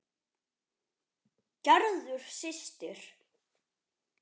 Gerður systir.